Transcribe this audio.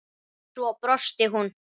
Svo brosti hún.